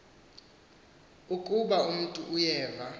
ukaba umntu uyeva